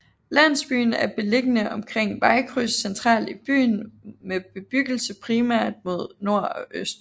Landsbyen er beliggende omkring vejkryds centralt i byen med bebyggelse primært mod nord og øst